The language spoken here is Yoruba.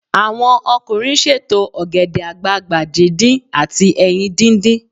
Àwọn ọkùnrin ṣètò ògèdè àgbagbà díndín àti ẹyin díndín.